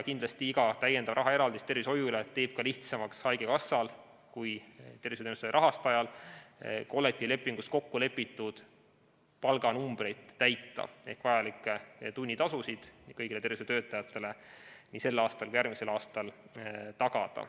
Kindlasti iga täiendav rahaeraldis tervishoiule teeb lihtsamaks haigekassal kui tervishoiuteenuste rahastajal kollektiivlepingus kokkulepitud palganumbreid täita ehk vajalikke tunnitasusid kõigile tervishoiutöötajatele nii sel kui ka järgmisel aastal tagada.